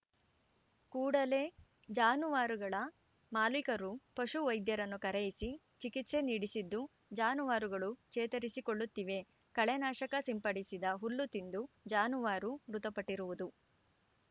ಕೂಡಲೇ ಜಾನುವಾರುಗಳ ಮಾಲೀಕರು ಪಶು ವೈದ್ಯರನ್ನು ಕರೆಯಿಸಿ ಚಿಕಿತ್ಸೆ ನೀಡಿಸಿದ್ದು ಜಾನುವಾರುಗಳು ಚೇತರಿಸಿಕೊಳ್ಳುತ್ತಿವೆ ಕಳೆನಾಶಕ ಸಿಂಪಡಿಸಿದ ಹುಲ್ಲು ತಿಂದು ಜಾನುವಾರು ಮೃತಪಟ್ಟಿರುವುದು